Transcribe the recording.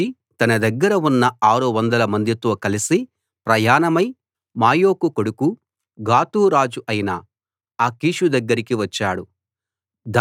లేచి తన దగ్గర ఉన్న 600 మందితో కలసి ప్రయాణమై మాయోకు కొడుకు గాతు రాజు అయిన ఆకీషు దగ్గరికి వచ్చాడు